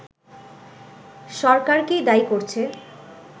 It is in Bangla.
সরকারকেই দায়ি করছে